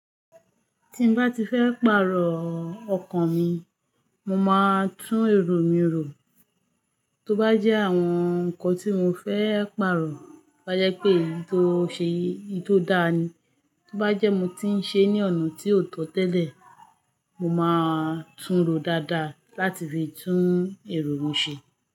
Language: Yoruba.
Tí n bá ti fẹ́ pààrọ̀ ọkàn mi, mo máa ń tún èrò mi ro. Tó bá jẹ́ àwọn ǹkan tí mo fẹ́ pààrọ̀ bá jẹ́ pé èyí tó ṣe èyí tó dáa ni. Tó bá jẹ́ mo ti ń ṣe ní ọ̀nà tí ò tọ́ tẹ́lẹ̀, mo máa ń túnro dáadáa láti fi tún èrò mi ṣe.